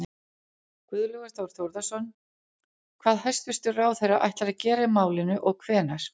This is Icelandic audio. Guðlaugur Þór Þórðarson: Hvað hæstvirtur ráðherra ætlar að gera í málinu og hvenær?